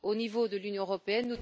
Au niveau de l'Union européenne,